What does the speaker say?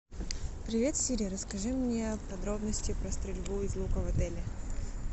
привет сири расскажи мне подробности про стрельбу из лука в отеле